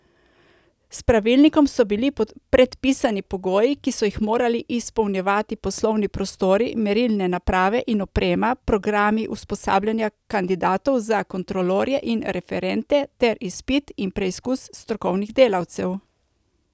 S pravilnikom so bili predpisani pogoji, ki so jih morali izpolnjevati poslovni prostori, merilne naprave in oprema, programi usposabljanja kandidatov za kontrolorje in referente ter izpit in preizkus strokovnih delavcev.